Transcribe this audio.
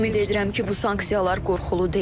Ümid edirəm ki, bu sanksiyalar qorxulu deyil.